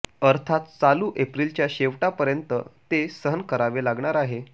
अर्थात चालू एप्रिलच्या शेवटापर्यंत ते सहन करावे लागणार आहेत